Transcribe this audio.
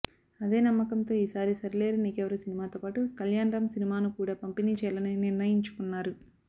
అదే నమ్మకంతో ఈసారి సరిలేరు నీకెవ్వరు సినిమాతో పాటు కల్యాణ్ రామ్ సినిమాను కూడా పంపిణీ చేయాలని నిర్ణయించుకున్నారు